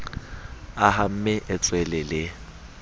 a hamme e tswele le